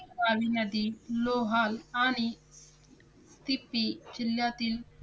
रावी नदी लोहाल आणि तिपी जिल्ह्यातील